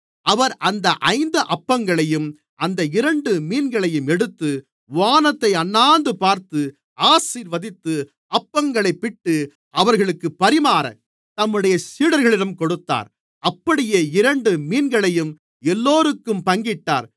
அவர் அந்த ஐந்து அப்பங்களையும் அந்த இரண்டு மீன்களையும் எடுத்து வானத்தை அண்ணாந்துபார்த்து ஆசீர்வதித்து அப்பங்களைப் பிட்டு அவர்களுக்குப் பரிமாறத் தம்முடைய சீடர்களிடம் கொடுத்தார் அப்படியே இரண்டு மீன்களையும் எல்லோருக்கும் பங்கிட்டார்